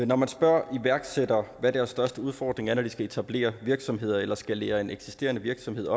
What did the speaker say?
når man spørger iværksættere hvad deres største udfordring er når de skal etablere virksomheder eller skalere en eksisterende virksomhed